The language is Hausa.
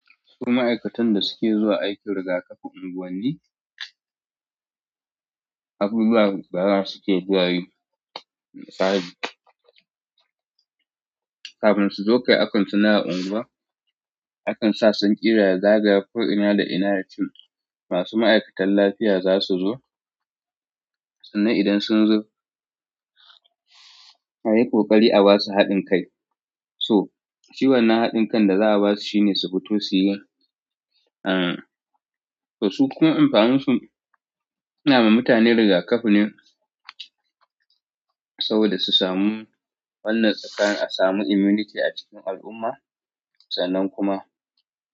Su ma'aikatan da suke zuwa aikin rigakafi unguwanni, abubuwa gaba su ke zuwayi. Misali, kafin su zo kai akan suna unguwa, akan sa sanƙira ya zagaya ko'ina da ina yacin masu ma'aikatan lafiya za su zo. Sannan idan sun zo, a yi ƙoƙari a ba su haɗin kai. So, shi wannna haɗin kan da za'a ba su shine su fito su yi. Em, to su kuma amfanin su sunama mutane rigakafi ne. Saboda su samu wannan tsakanin a samu immunity a cikin al'umma, sannan kuma.